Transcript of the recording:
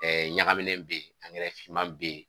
Ɛɛ ɲagaminɛ bɛ yen finman bɛ yen